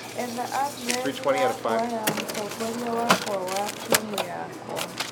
Etha andirethi yakwa ya mũtongoria wakwa wa timũ yakwa